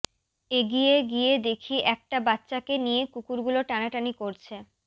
এগিয়ে গিয়ে দেখি একটা বাচ্চাকে নিয়ে কুকুরগুলো টানাটানি করছে